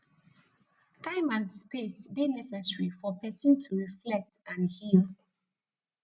time and space dey necessary for pesin to reflect and heal